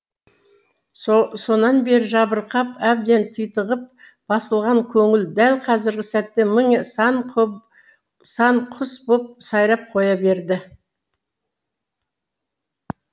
сонан бері жабырқап әбден титығып басылған көңіл дәл қазіргі сәтте мың сан сан құс боп сайрап қоя берді